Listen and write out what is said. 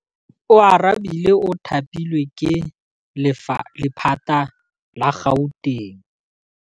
Oarabile o thapilwe ke lephata la Gauteng.